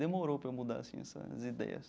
Demorou para eu mudar assim essas ideias.